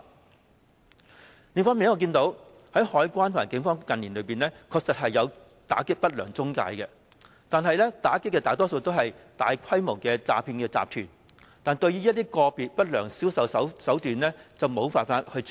另一方面，我也看到海關和警方近年確實有打擊不良中介公司，但打擊的大多是大規模的詐騙集團，對於個別的不良銷售手段則無法處理。